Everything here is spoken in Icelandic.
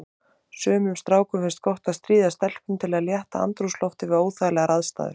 Sumum strákum finnst gott að stríða stelpum til að létta andrúmsloftið við óþægilegar aðstæður.